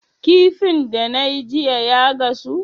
Kifin da nayi jiya ya gasu?